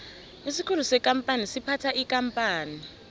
isikhulu sekampani siphatha ikampani